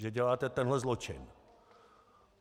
Že děláte tenhle zločin.